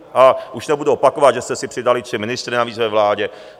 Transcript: A už nebudu opakovat, že jste si přidali tři ministry navíc ve vládě.